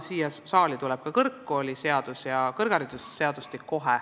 Siia saali tuleb kohe ka kõrgharidusseadus.